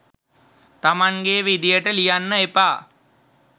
තමන්ගේ විදියට ලියන්න එපා.